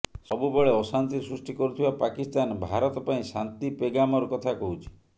ସବୁବେଳେ ଅଶାନ୍ତି ସୃଷ୍ଟି କରୁଥିବା ପାକିସ୍ତାନ ଭାରତ ପାଇଁ ଶାନ୍ତି ପେଗାମର କଥା କହୁଛି